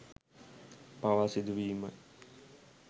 පවා සිදුවීමයි